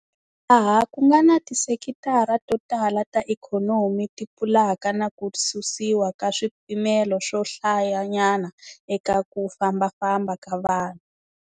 Laha ku nga na tisekitara to tala ta ikhonomi ti pfulaka na ku susiwa ka swipimelo swo hlayanyana eka ku fambafamba ka vanhu.